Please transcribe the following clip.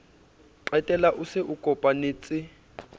qetella o se o kopanetse